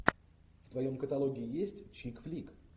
в твоем каталоге есть чик флик